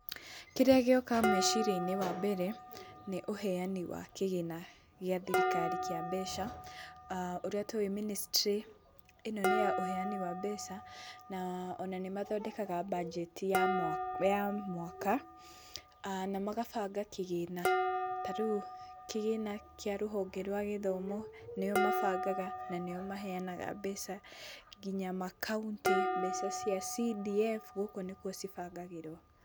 Kĩrĩa gĩoka meciria-inĩ, wambere, nĩ ũheani wa kĩgĩna gĩa thirikari kĩa mbeca. Ũrĩa tũĩ mĩnĩstry ĩno nĩ ya ũheani wa mbeca na ona nĩmathondekaga mbangeti ya ya mwaka na magabanga kĩgĩna. Ta rĩu kĩgĩna kĩa rũhonge rwa gĩthomo nĩo mabangaga na nĩo maheanaga mbeca kinya makaũntĩ, mbeca cia CDF gũkũ nĩkuo cibangagĩrwo.